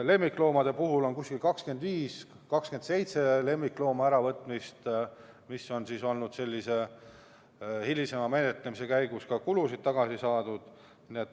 Lemmikloomade puhul on aastas 25–27 looma äravõtmist, hilisema menetlemise käigus on ka kulusid tagasi saadud.